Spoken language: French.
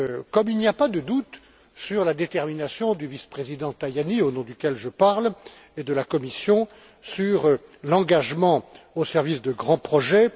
Comme il n'y a pas de doute sur la détermination du vice président Tajani, au nom duquel je parle, et de la Commission, sur l'engagement au service de grands projets.